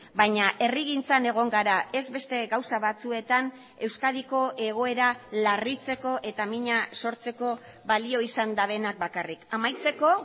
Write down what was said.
baina herrigintzan egon gara ez beste gauza batzuetan euskadiko egoera larritzeko eta mina sortzeko balio izan dutenak bakarrik amaitzeko